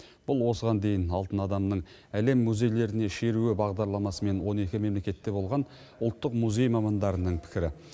бұл осыған дейін алтын адамның әлем музейлеріне шеруі бағдарламасымен он екі мемлекетте болған ұлттық музей мамандарының пікірі